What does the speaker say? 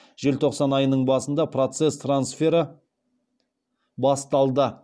желтоқсан айының басында процесс трансфері басталды